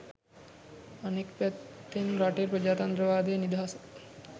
අනෙක් පැත්තෙන් රටේ ප්‍රජාතන්ත්‍රවාදය නිදහස